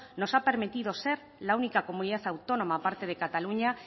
nos ha permitido ser la única comunidad autónoma a parte de cataluña